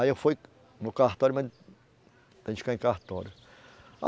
Aí, eu fui no cartório, mas ficar em cartório.